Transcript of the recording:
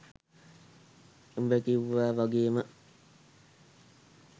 උඹ කිව්වා වගේම